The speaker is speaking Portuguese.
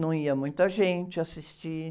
Não ia muita gente assistir.